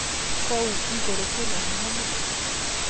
Kũu igũrũ kwĩna heho mũno